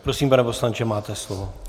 Prosím, pane poslanče, máte slovo.